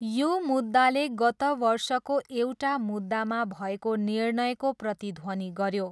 यो मुद्दाले गत वर्षको एउटा मुद्दामा भएको निर्णयको प्रतिध्वनि गऱ्यो।